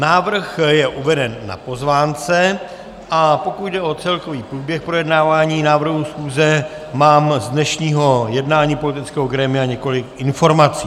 Návrh je uveden na pozvánce, a pokud jde o celkový průběh projednávání návrhu schůze, mám z dnešního jednání politického grémia několik informací.